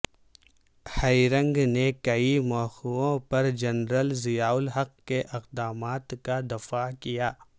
herring نے کئی موقعوں پر جنرل ضیاءالحق کے اقدامات کا دفاع کیا